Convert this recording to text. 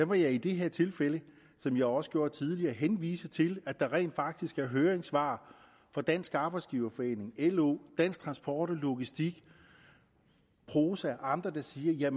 må jeg i det her tilfælde som jeg også gjorde tidligere henvise til at der rent faktisk er høringssvar fra dansk arbejdsgiverforening lo dansk transport og logistik prosa og andre der siger